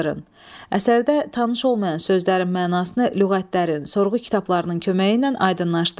Əsərdə tanış olmayan sözlərin mənasını lüğətlərin, sorğu kitablarının köməyi ilə aydınlaşdırın.